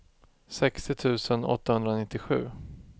sextio tusen åttahundranittiosju